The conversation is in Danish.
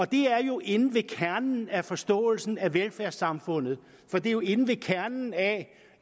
det er jo inde ved kernen af forståelsen af velfærdssamfundet for det er jo inde ved kernen af